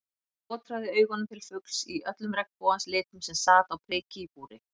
Hann skotraði augunum til fugls í öllum regnbogans litum sem sat á priki í búri.